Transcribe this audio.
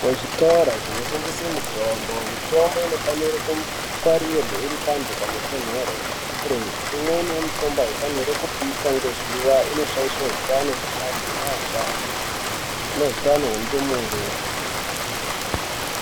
Muzvitoro zvinotengesa mitombo mitombo inofanire kungwarirwe iri pantu panotonhorere. Imweni yemitombo haifani kupishwa ngezuva inoshaishe hutano hweantu neashani nehutano hwendumure.